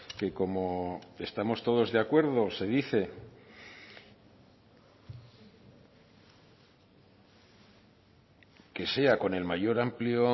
que como estamos todos de acuerdo se dice que sea con el mayor amplio